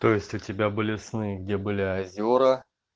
то есть у тебя были сны где были озера